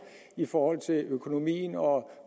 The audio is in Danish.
i forhold til økonomien og